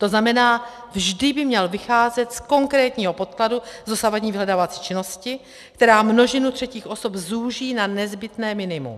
To znamená, vždy by měl vycházet z konkrétního podkladu, z dosavadní vyhledávací činnosti, která množinu třetích osob zúží na nezbytné minimum.